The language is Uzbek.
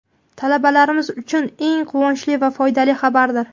talabalarimiz uchun eng quvonchli va foydali xabardir.